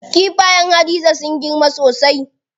Kifayen Hadiza sun girma sosai.